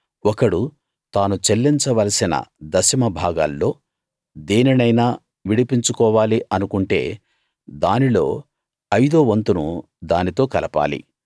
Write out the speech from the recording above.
ఒకడు తాను చెల్లించవలసిన దశమభాగాల్లో దేనినైనా విడిపించుకోవాలి అనుకుంటే దానిలో ఐదో వంతును దానితో కలపాలి